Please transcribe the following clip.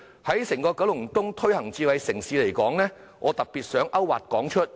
關於在整個九龍東推行智慧城市，我特別想提出"泊車易"計劃作為例子。